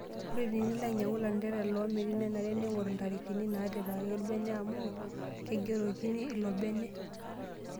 Ore tenilo anyiang'u lanterera loomiri nenare ning'or ntarikini natipikaki ilobene amu keigerokino ilobene.